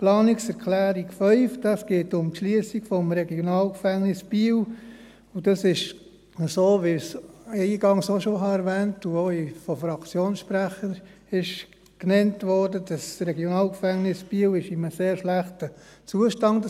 In der Planungserklärung 5 geht es um die Schliessung des RG Biel, und dieses ist, wie ich eingangs auch schon erwähnt habe und es auch von Fraktionssprechern genannt wurde, in einem sehr schlechten Zustand.